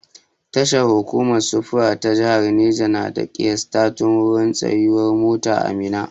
Tashar hukumar sufuri ta jahar Neja na da ƙiyastattun wurin tsayuwar mota a Minna.